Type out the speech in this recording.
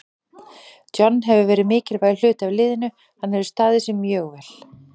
John hefur verið mikilvægur hluti af liðinu, hann hefur staðið sig mjög vel.